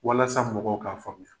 Walasa mɔgɔw k'a faamuya.